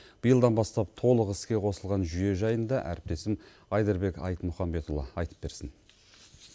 биылдан бастап толық іске қосылған жүйе жайында әріптесім айдарбек айтмұханбетұлы айтып берсін